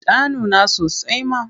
Ta nuna sasai ma.